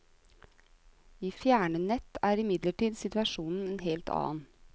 I fjernnett er imidlertid situasjonen en helt annen.